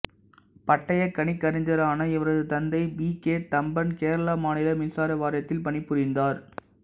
பட்டய கணக்கறிஞரான இவரது தந்தை பி கே தம்பன் கேரள மாநில மின்சார வாரியத்தில் பணிபுரிந்தார்